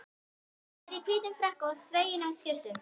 Ég var í hvítum frakka og þveginni skyrtu.